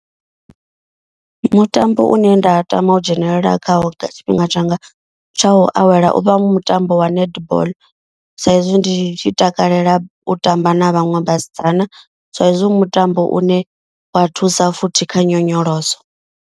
Mutambo une nda tama u dzhenelela khawo nga tshifhinga tshanga tsha u awela. Uvha u mutambo wa netball sa ezwi ndi tshi takalela u tamba na vhaṅwe vhasidzana sa ezwi mutambo u ne wa thusa futhi kha nyonyoloso.